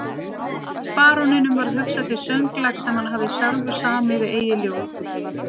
Baróninum varð hugsað til sönglags sem hann hafði sjálfur samið við eigið ljóð.